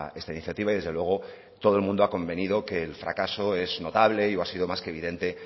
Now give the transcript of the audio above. esta iniciativa y desde luego todo el mundo ha convenido que el fracaso es notable y ha sido más que evidente